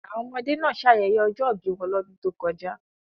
Àwọn ọmọdé náà ṣayẹyẹ ọjọ́ ìbí wọn lọ́dún tó kọjá.